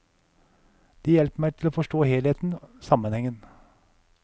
De hjelper meg til å forstå helheten, sammenhengen.